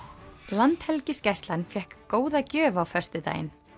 Landhelgisgæslunnar fékk góða gjöf á föstudaginn